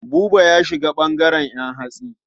Buba ya shiga ɓangaren ƴan hatsi.